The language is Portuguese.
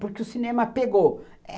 Porque o cinema pegou.